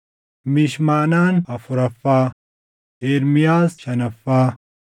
Mishmanaan afuraffaa, Ermiyaas shanaffaa,